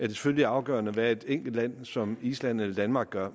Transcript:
selvfølgelig afgørende hvad et enkelt land som island eller danmark gør